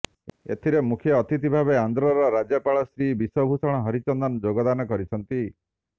ଏଥିରେ ମୁଖ୍ୟ ଅତିଥି ଭାବେ ଆନ୍ଧ୍ରର ରାଜ୍ୟପାଳ ଶ୍ରୀ ବିଶ୍ବଭୂଷଣ ହରିଚନ୍ଦନ ଯୋଗଦାନ କରିଛନ୍ତି